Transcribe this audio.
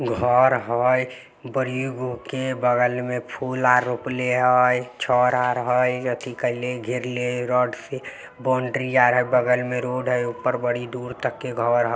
घर हई बड़ीगो के बगल में फूला रोपले हई। छर आर हई अथी कइले घेरले हई रड से। बाउंडरी आर हई बगल में रोड हई। ऊपर बड़ी दुर तक के घर हई।